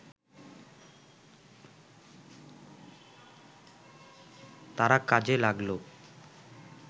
তারা কাজে লাগল